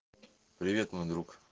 привет мой друг